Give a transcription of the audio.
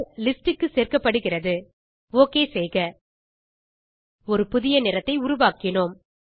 list க்கு சேர்க்கப்படுகிறது okay செய்க ஒரு புதிய நிறத்தை உருவாக்கினோம்